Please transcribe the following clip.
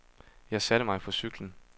Jeg satte mig på cyklen.